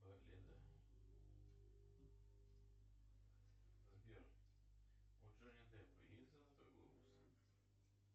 сбер у джонни депа есть золотой глобус